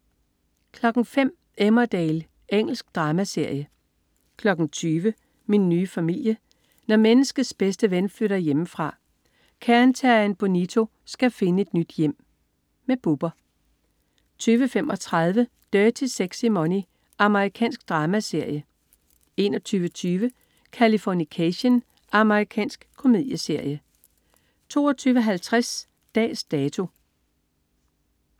05.00 Emmerdale. Engelsk dramaserie 20.00 Min nye familie. Når menneskets bedste ven flytter hjemmefra. Cairn terrieren Bonito skal finde et nyt hjem. Bubber 20.35 Dirty Sexy Money. Amerikansk dramaserie 21.20 Californication. Amerikansk komedieserie 22.50 Dags Dato